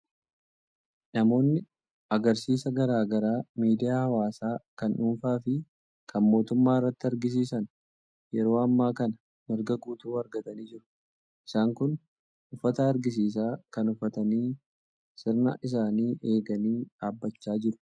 Namoonni agarsiisa garaa garaa miidiyaa hawaasaa kan dhuunfaa fi kan mootummaa irratti agarsiisan yeroo ammaa kana mirga guutuu argatanii jiru. Isaan kun uffata agarsiisaa kana uffatanii sirna isaanii eeganii dhaabachaa jiru.